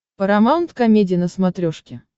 парамаунт комеди на смотрешке